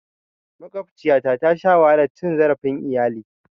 Maƙwabciyata tasha wahalar cin zarafin iyali.